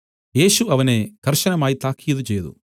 യേശു അവനെ കർശനമായി താക്കീത് ചെയ്തു